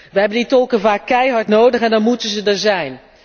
Wij hebben die tolken vaak keihard nodig en dan moeten zij er zijn.